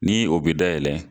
Ni o bɛ da yɛlɛ